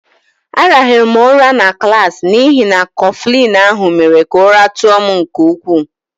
A rahụrụ m ụra na klaasị n'ihi na Kọflịn ahụ mere ka ụra tụọ m nke ukwu